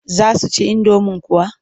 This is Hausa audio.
Za su ci indomin kuwa?